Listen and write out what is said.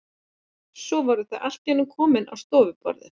Svo voru þau allt í einu komin á stofuborðið.